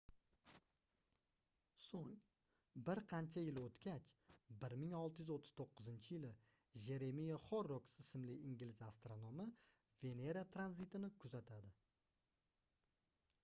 soʻng bir qancha yil oʻtgach 1639-yili jeremiya horroks ismli ingliz astronomi venera tranzitini kuzatadi